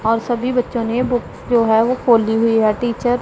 और सभी बच्चों ने बुक्स जो है वो खोली हुई है टीचर --